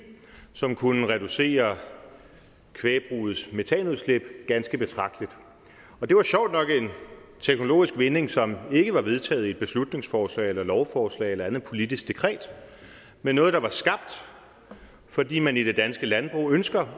som kunne reducere kvægbrugets metanudslip ganske betragteligt det var sjovt nok en teknologisk vinding som ikke var vedtaget i et beslutningsforslag eller lovforslag eller andet politisk dekret men noget der var skabt fordi man i det danske landbrug ønsker